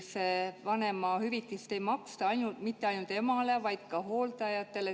Vanemahüvitist ei maksta mitte ainult emale, vaid ka hooldajale.